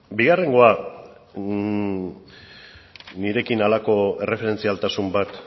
bigarrengoa nirekin halako erreferentzialtasun bat